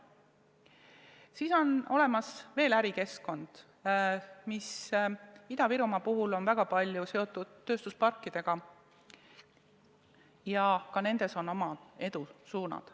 Siis on olemas veel ärikeskkond, mis Ida-Virumaal on väga palju seotud tööstusparkidega, ja ka nendes on oma edusuunad.